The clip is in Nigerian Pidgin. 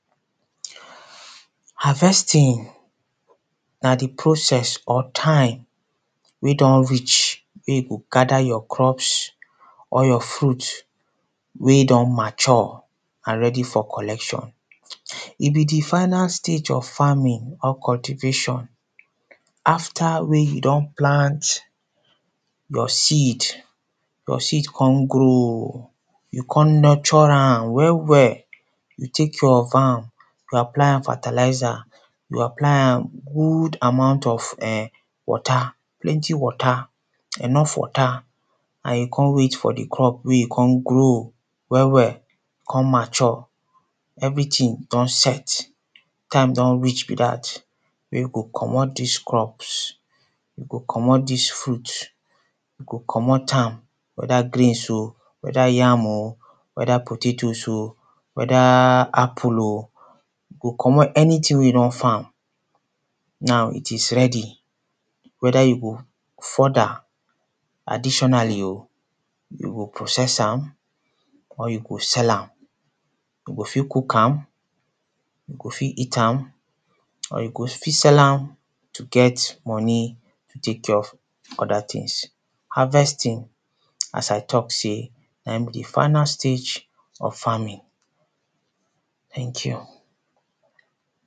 Harvesting na di process or time wey don reach wey you go gada your crops or your fruit wey don mature and ready for collection, e be di final stage of farming or cultivation after wen you don plant your seed, your seed kon grow e kon nurture am well well, you take your farm you apply am fertiliser, you apply am good amount of water plenty water, enough water and you kon wait for di crop wey e kon grow well well kon mature everytin don set time don reach be dat wey go comot dis crops wey go comot dis fruit go comot wether grains oh, wether yam oh, wether potatos oh, wether apple oh, go comot anytin wey you don farm, now it is ready wether you go further additionally oh you go process am or you go sell am, you go fit cook am, you go fit eat am or you go fit sell am to get money to take care of oda tins, harvesting as I talk sey naim be di final stage of farming, tank you.